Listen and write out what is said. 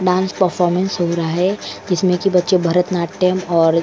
performance हो रहा है जिसमें कि बच्चे भरत नाट्यम और --